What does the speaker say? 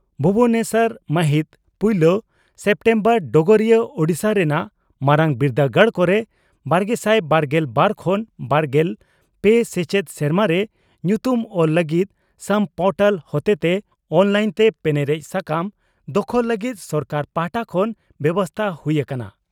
ᱵᱷᱩᱵᱚᱱᱮᱥᱚᱨ ᱢᱟᱹᱦᱤᱛ ᱯᱩᱭᱞᱟᱹ ᱥᱮᱯᱴᱮᱢᱵᱚᱨ (ᱰᱚᱜᱚᱨᱤᱭᱟᱹ) ᱺ ᱳᱰᱤᱥᱟ ᱨᱮᱱᱟᱜ ᱢᱟᱨᱟᱝ ᱵᱤᱨᱫᱟᱹᱜᱟᱲ ᱠᱚᱨᱮ ᱵᱟᱨᱜᱮᱥᱟᱭ ᱵᱟᱨᱜᱮᱞ ᱵᱟᱨ ᱠᱷᱚᱱ ᱵᱟᱨᱜᱮᱞ ᱯᱮ ᱥᱮᱪᱮᱫ ᱥᱮᱨᱢᱟᱨᱮ ᱧᱩᱛᱩᱢ ᱚᱞ ᱞᱟᱹᱜᱤᱫ ᱥᱟᱢ ᱯᱚᱨᱴᱟᱞ ᱦᱚᱛᱮᱛᱮ ᱚᱱᱞᱟᱭᱤᱱᱛᱮ ᱯᱮᱱᱮᱨᱮᱡ ᱥᱟᱠᱟᱢ ᱫᱚᱠᱷᱚᱞ ᱞᱟᱹᱜᱤᱫ ᱥᱚᱨᱠᱟᱨ ᱯᱟᱦᱴᱟ ᱠᱷᱚᱱ ᱵᱮᱵᱚᱥᱛᱟ ᱦᱩᱭ ᱦᱟᱠᱟᱱᱟ ᱾